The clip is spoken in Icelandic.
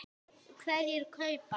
Hverjir kaupa?